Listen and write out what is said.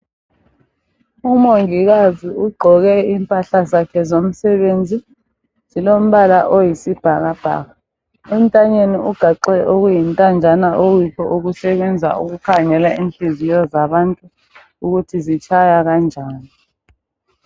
umongikazi ugqoke impahla zakhe zomsebenzi zilomabala oyisibhakabhaka entanye ni ugaxe okuyintanjana okuyikho okusebenza ukukhangela ukuthi inhliziyo zabantu zitshaya kanjani